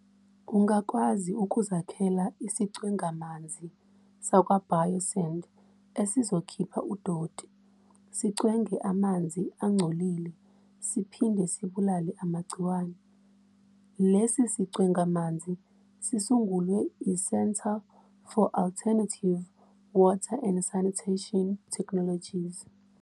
Ungakwazi ukuzakhela isicwengamanzi sakwa Biosand esizokhipha udoti, sicwenge amanzi angcolile siphinde sibulale amagciwane. Lesi sicwengamanzi sisungulwe i-Centre for Alternative Water and Sanitation Technologies.